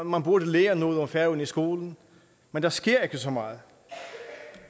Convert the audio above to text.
man burde lære noget om færøerne i skolen men der sker ikke så meget